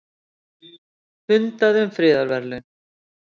Fundað um friðarverðlaun